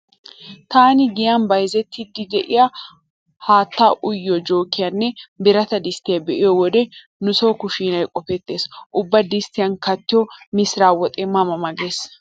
Taani giyan bayzettiiddi diya haattaa uyiyo jookiyanne birata disttiya be'iyo wode nu so kushshiinay qofettees. Ubba disttiyan kattiyo misira woxee ma ma gees.